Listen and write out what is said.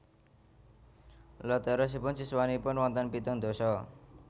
Lha terosipun siswanipun wonten pitung ndasa